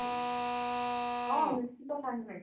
ହଁ ନିଶ୍ଚିନ୍ତ କାହିଁକି ନୁହେଁ